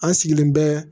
An sigilen bɛ